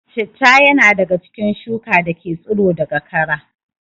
Citta ya na daga cikin shuka dake tsiro daga kara